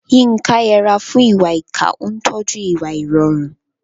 Yinka yẹra fún ìwà ìkà, ó ń tọ́jú ìwà ìrọ̀rùn.